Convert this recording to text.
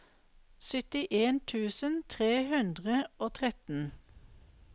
syttien tusen tre hundre og tretten